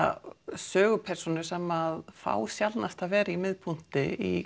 sögupersónum sem fá sjaldnast að vera í miðpunkti í